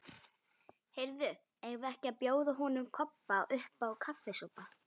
Heyrðu, eigum við ekki að bjóða honum Kobba uppá kaffisopa?